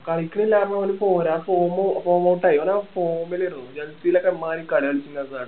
കളിക്കണില്ലാരുന്നു ഓന് പോരാ form form out ആയി അവന് ആ form ലായിരുന്നു chelsea ലോക്കെ ഇമ്മാതിരി കളി കളിച്ചു ഹസാഡ്